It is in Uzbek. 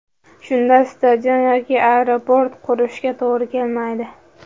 Shunda stadion yoki aeroport qurishga to‘g‘ri kelmaydi.